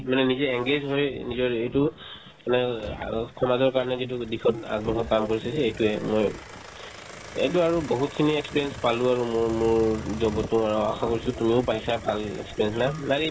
মানে নিজে engage হৈ নিজৰ এইটো সমাজৰ কাৰণে যিটো দিশত আগবঢ়োৱা কাম কৰিছে সেই এইটোয়ে মই এইটো আৰু বহুতখিনি experience পালো আৰু মোৰ মোৰ job তো আৰু আশা কৰিছো তুমিও পাইছা ভাল experience